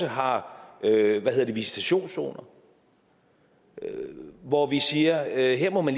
har visitationszoner hvor vi siger at her må man